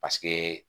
Paseke